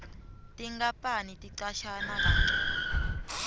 tinkapani ticashana kancono